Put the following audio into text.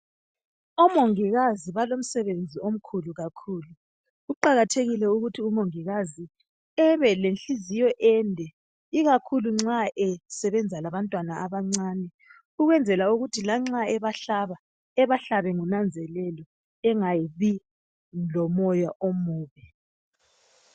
Omongikazi balomsebenzi omkhulu kakhulu kuqakathekile ukuthi umongikazi ebe lenhliziyo ende ikakhulu nxa esebenza labantwana abancane ukwenzela ukuthi lanxa ebahlaba ebahlabe ngonanzelelo engabi lomoya omubi